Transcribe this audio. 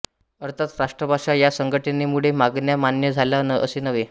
अर्थात राष्ट्रसभा या संघटनेमुळे मागण्या मान्य झाल्या असे नव्हे